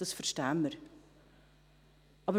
Das verstehen wir.